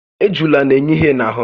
Ejula n'enye ihé n'ahụ́